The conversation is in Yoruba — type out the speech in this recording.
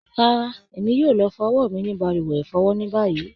Rárá, Èmi yóò lọ fọ ọwọ́ mí ní balùwẹ̀ ifọ́wọ́ ni báyìí.